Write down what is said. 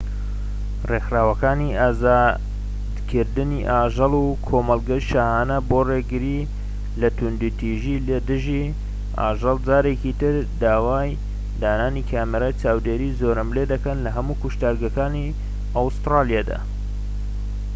ڕێکخراوەکانی ئازادکردنی ئاژەڵ و کۆمەڵگەی شاهانە بۆ ڕێگریی لە توندوتیژی لە دژی ئاژەڵ جارێکی تر داوای دانانی کامێرەی چاودێری زۆرەملێ دەکەن لە هەموو کوشتارگەکانی ئەستورالیادا